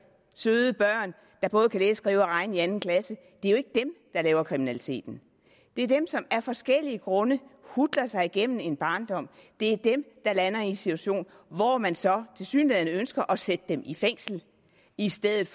søde børn der både kan læse skrive og regne i anden klasse der laver kriminalitet det er dem som af forskellige grunde hutler sig igennem en barndom der lander i en situation hvor man så tilsyneladende ønsker at sætte dem i fængsel i stedet